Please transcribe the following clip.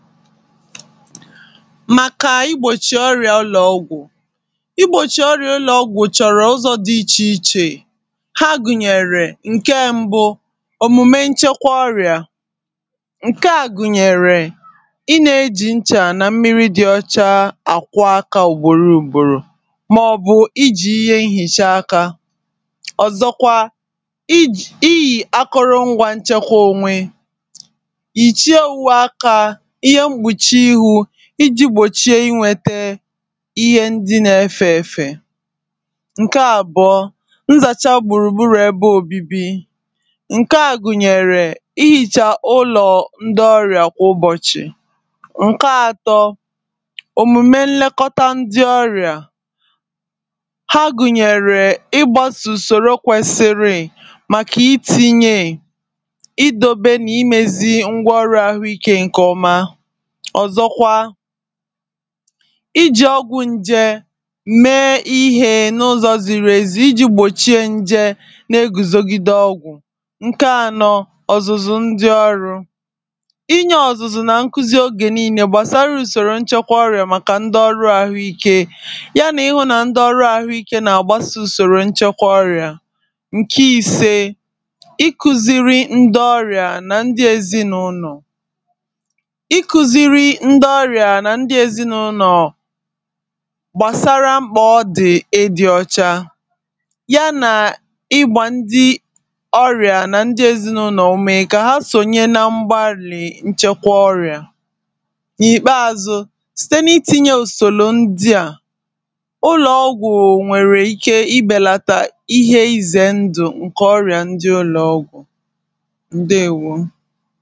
màkà mgbòchì ọrị̀à ụlọ̀ọgwụ̀ igbòchì ọrị̀à ụlọ̀ọgwụ̀ chọ̀rọ̀ ụzọ̇ dị ichè ichè ha gùnyèrè ǹke mbụ òmùme nchekwa ọrị̀à ǹke à gùnyèrè ị nà-eji nchà nà mmiri dị ọcha àkwọ akȧ ùgbòro ùgbòrò mà ọ̀bù ijì ihe nhìcha aka ọ̀zọkwa iji̇ iyì akụrụ ngwȧ nchekwa onwe ije gbòchie inwėtė ihe ndi na-efė efė ǹke àbụọ nzàcha gbùrùgburù ebe òbibi ǹke à gùnyèrè ihìcha ụlọ̀ ndị ọrị̀à kwà ụbọ̀chị̀ ǹke ȧtọ̇ òmùme nlekọta ndị ọrị̀à ha gùnyèrè ịgbasùsòro kwesiri màkà itinye ìdobe nà imėzi ngwa ọrụ àhụike nkè ọma ọ̀zọkwa iji̇ ọgwụ̇ ǹjè mèe ihe n’ụzọ̀ zìrì èzì iji̇ gbòchie ǹjè nà-egùzògide ọgwụ̀ ǹke anọ ọ̀zụ̀zụ̀ ndi ọrụ̇. inye ọ̀zụ̀zụ̀ na nkuzi ogè niilė gbàsara ùsòrò nchekwa ọrịà màkà ndi ọrụ̇ àhụikė ya nà ihụ̇na ndi ọrụ àhụike na-agbasị̇ ùsòrò nchekwa ọrịà ǹke ìse iku̇ziri ndi ọrịà nà ndi èzi n’ụlọ̀ ndị ọrịà nà ndị ezinụlọ̀ gbàsara mkpà ọ dị̀ edi̇ ọchȧ ya nà ịgbȧ ndị ọrịà nà ndị ezinụlọ̀ òmè kà ha sònye na mgba àlị̀ nchekwa ọrịà n’ìkpeȧzụ̇ site n’itinye ùsòlò ndị à ụlọ̀ ọgwụ̀ nwèrè ike ịbèlata ihe izè ndụ̀ ǹkè ọrìà ndị ụlọ̀ ọgwụ̀ ndewo